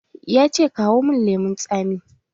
Ya ce "Kawo mun lemun tsami"!